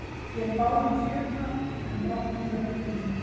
Vér bárum fjötra, en brátt nú hljótum